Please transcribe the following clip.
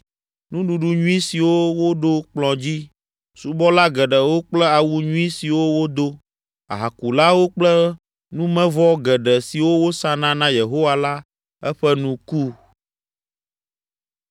nuɖuɖu nyui siwo woɖo kplɔ̃ dzi, subɔla geɖewo kple awu nyui siwo wodo, ahakulawo kple numevɔ geɖe siwo wòsana na Yehowa la, eƒe nu ku.